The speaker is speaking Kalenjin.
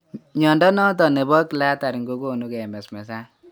Mnyondo noton nebo cluttering ko gonu kemesmes an